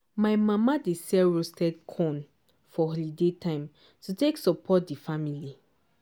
my mama dey sell roasted corn for holiday time to take support di family.